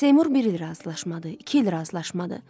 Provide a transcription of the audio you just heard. Seymur bir il razılaşmadı, iki il razılaşmadı.